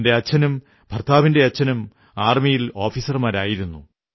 എന്റെ അച്ഛനും ഭർത്താവിന്റെ അച്ഛനും ആർമിയിൽ ഓഫീസർമാരായിരുന്നു